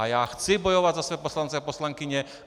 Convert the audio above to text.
A já chci bojovat za své poslance a poslankyně.